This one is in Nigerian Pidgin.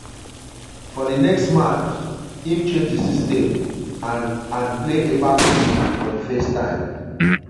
for di next match im change di system and and play a back three for di first time.